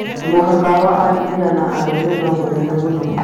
Mũhaka wa arũme na atumia no mũnene mũno.